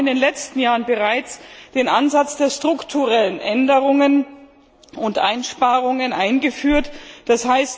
Wir haben in den letzten Jahren bereits den Ansatz der strukturellen Änderungen und Einsparungen eingeführt, d.